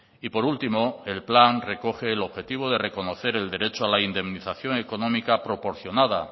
y por último el plan recoge el objetivo de reconocer el derecho a la indemnización económica proporcionada